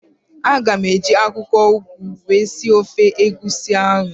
Aga m eji akwụkwọụgụ wee sie ofe egusi ahụ